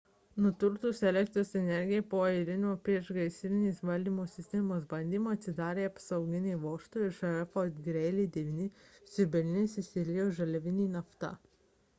nutrūkus elektros energijai po eilinio priešgaisrinės valdymo sistemos bandymo atsidarė apsauginiai vožtuvai ir šalia fort greely 9 siurblinės išsiliejo žaliavinė nafta